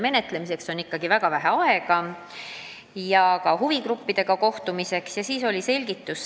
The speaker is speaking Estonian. Menetlemiseks, sh huvigruppidega kohtumiseks on ikkagi väga vähe aega.